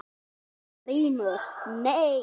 GRÍMUR: Nei?